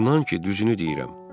İnan ki, düzünü deyirəm.